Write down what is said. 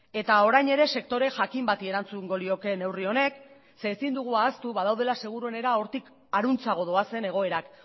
eta orain ere sektore jakin bati erantzungo lioke neurri honek zeren ezin dugu ahaztu badaudela seguruenera hortik harantzago doazen egoerak